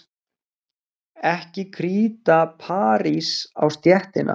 Ekki kríta parís á stéttina.